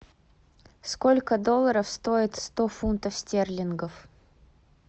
сколько долларов стоит сто фунтов стерлингов